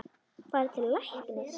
Fara til læknis?